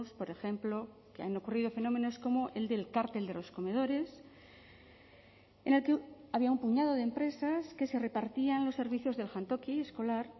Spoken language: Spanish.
por ejemplo que han ocurrido fenómenos como el del cártel de los comedores en el que había un puñado de empresas que se repartían los servicios del jantoki escolar